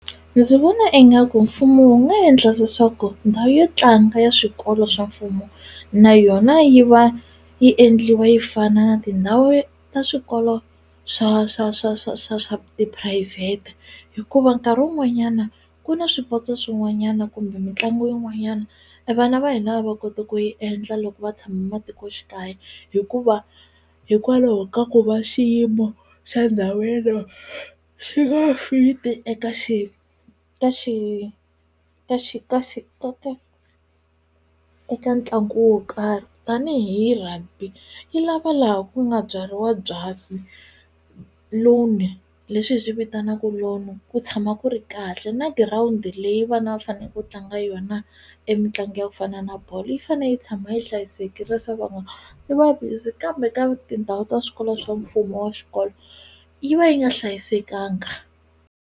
Ndzi vona ingaku mfumo wu nga yendla leswaku ndhawu yo tlanga ya swikolo swa mfumo na yona yi va yi endliwa yi fana na tindhawu ta swikolo swa swa swa swa swa swa tiphurayivhete hikuva nkarhi wun'wanyana ku na swipotso swin'wanyana kumbe mitlangu yin'wanyana e vana va hina a va koti ku yi endla loko va tshame matikoxikaya hikuva hikwalaho ka ku va xiyimo xa ndhawu yeleyo xi nga fit-i eka xi ka xi ka xi ka xi eka ntlangu wo karhi tanihi rugby yi lava laha ku nga byariwa byasi lawn leswi hi swi vitanaku lawn ku tshama ku ri kahle na girawundi leyi vana va fane ku tlanga yona e mitlangu ya ku fana na bolo yi fane yi tshama yi hlayisekile swa ku yi va busy kambe ka tindhawu ta swikolo swa mfumo wa xikolo yi va yi nga hlayisekanga.